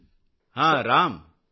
रामगम्पा तेजाः नमस्ते जी